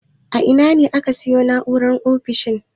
A ina ne aka sayo na'urar ofishin?